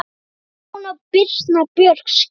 Stefán og Birna Björg skildu.